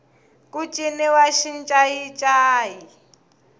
ku ciniwa xincayincayi